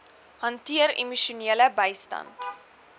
hanteer emosionele bystand